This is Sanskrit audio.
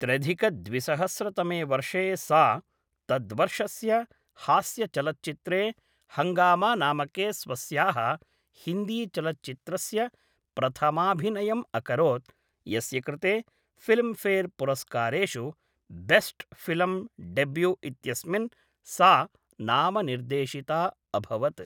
त्र्यधिकद्विसहस्रतमे वर्षे सा तद्वर्षस्य हास्यचलच्चित्रे हङ्गामानामके स्वस्याः हिन्दीचलच्चित्रस्य प्रथमाभिनयम् अकरोत् यस्य कृते फ़िल्म् फ़ेर् पुरस्कारेषु बेस्ट् फ़िल्म् डेब्यू इत्यस्मिन् सा नामनिर्देशिता अभवत्